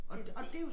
Det det